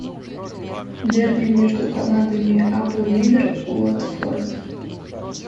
дерби между командами апл ливер уотфорд